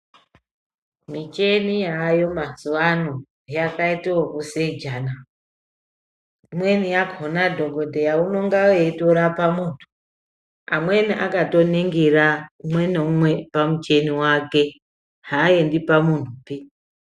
Michini yaayo mazuwaano yakaite ekuseja naa. Imweni yakhona dhokodheya unonga eitorapa muntu amweni akatoningira umwe naumwe pamuchini wake haaendi pamuntupi.